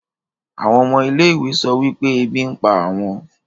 àwọn ọmọ ilé-ìwé sọ wípé ebi ń pa àwọn